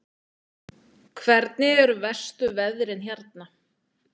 Hvernig eru verstu veðrin hérna?